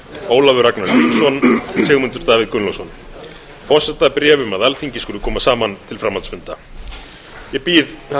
ólafur ragnar grímsson sigmundur davíð gunnlaugsson forsetabréf um að alþingi skuli koma saman til framhaldsfunda ég býð